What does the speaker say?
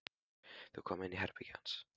Þau koma inn í herbergið hans.